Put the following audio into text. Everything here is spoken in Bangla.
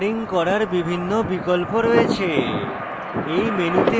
এতে rendering করার বিভিন্ন বিকল্প রয়েছে